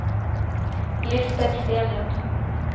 Lisbeth Stenlund